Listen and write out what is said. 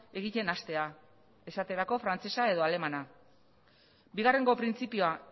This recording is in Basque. egiten hastea esaterako frantsesa edo alemana bigarrengo printzipioa